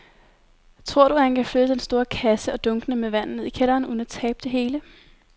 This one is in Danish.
Tror du, at han kan flytte den store kasse og dunkene med vand ned i kælderen uden at tabe det hele?